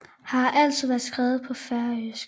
Har altid været skrevet på færøsk